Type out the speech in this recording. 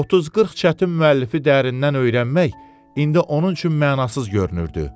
30-40 çətin müəllifi dərindən öyrənmək indi onun üçün mənasız görünürdü.